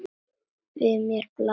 Við mér blasir.